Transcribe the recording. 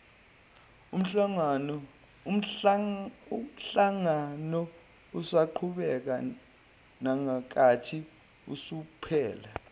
umhlanganousaqhubeka nangenkathi usuphela